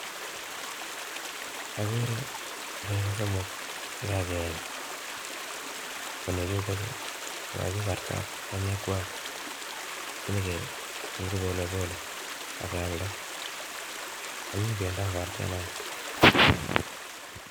Akere nego somok chekakeny banye chutachu kokakikartat siniketil kopolepole akealda anyiny pendo ab artet naa